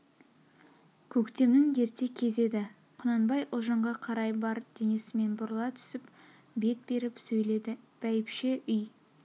көктемнң ерте кез еді құнанбай ұлжанға қарай бар денесмен бұрыла түсіп бет беріп сөйледі бәйбше үй